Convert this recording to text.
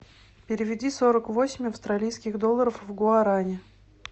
переведи сорок восемь австралийских долларов в гуарани